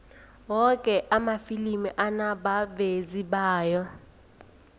woke amafilimi anabavezi bawo